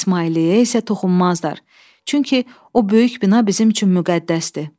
İsmailiyyə isə toxunmazdır, çünki o böyük bina bizim üçün müqəddəsdir.